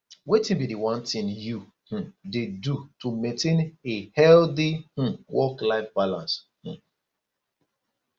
wetin be di one thing you um dey do to maintain a healthy um worklife balance um